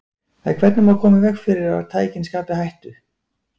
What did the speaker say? En hvernig má koma í veg fyrir að tækin skapi hættu?